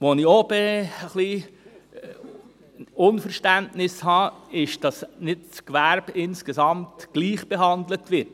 Ein bisschen unverständlich ist mir, dass das Gewerbe insgesamt nicht gleich behandelt wird.